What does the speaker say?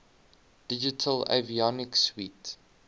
digital avionics suite